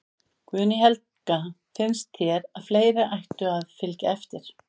Guðný Helga: Finnst þér að fleiri ættu að, að fylgja eftir?